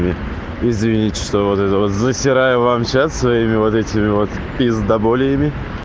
извините что вот это вот засираю вам чат своими вот этими вот пиздаболиями